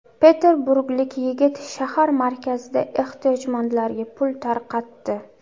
Peterburglik yigit shahar markazida ehtiyojmandlarga pul tarqatdi.